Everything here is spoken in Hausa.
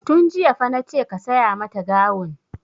Tun jiya fa nace ka saya mata gawun!